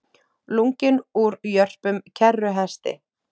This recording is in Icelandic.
Lunginn úr jörpum kerruhesti